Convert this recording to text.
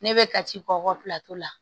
Ne bɛ ka ci k'okɔ la